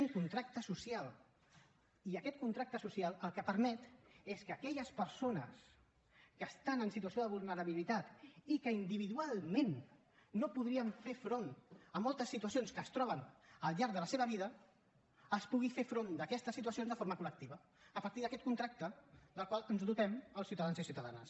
un contracte social i aquest contracte social el que permet és que aquelles persones que estan en situació de vulnerabilitat i que individualment no podrien fer front a moltes situacions que es troben al llarg de la seva vida es pugui fer front a aquestes situacions de forma col·lectiva a partir d’aquest contracte del qual ens dotem els ciutadans i ciutadanes